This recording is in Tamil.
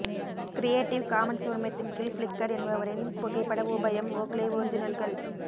கிரியேட்டிவ் காமன்ஸ் உரிமத்தின் கீழ் ஃப்ளிக்கர் என்பவரின் புகைப்பட உபயம் ஓக்லேஒரிஜினல்கள்